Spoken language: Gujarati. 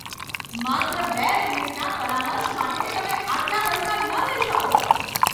માત્ર બે મિનિટના પરામર્શ માટે તમે આટલા પૈસા ન લઈ શકો!